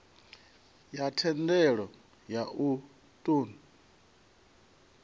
ya thendelo ya u ṱun